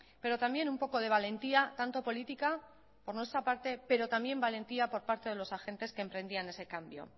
pero también un poco de valentía tanto política por nuestra parte pero también valentía por parte de los agentes que emprendían ese cambio